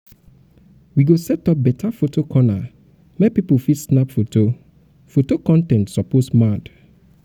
we go set up beta photo corner make pipo fit snap fine foto con ten t foto con ten t suppose mad